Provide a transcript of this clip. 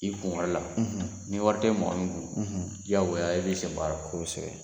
I kunwari la, ni wari tɛ mɔgɔ min kun, diyagoya e b'i senbɔ a la, kosɛbɛ